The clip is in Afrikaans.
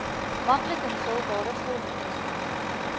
maklik invulbare vormtestament